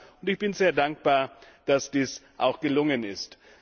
Und ich bin sehr dankbar, dass dies auch gelungen ist.